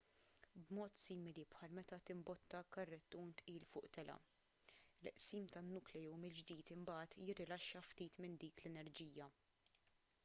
b'mod simili bħal meta timbotta karrettun tqil fuq telgħa il-qsim tan-nukleu mill-ġdid imbagħad jirrilaxxa ftit minn dik l-enerġija